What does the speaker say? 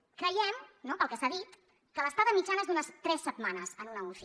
creiem no pel que s’ha dit que l’estada mitjana és d’unes tres setmanes en una uci